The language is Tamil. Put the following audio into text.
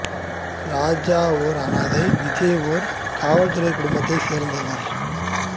ராஜா ஒரு அனாதை விஜய் ஒரு காவல் துறை குடும்பத்தைச் சேர்ந்தவன்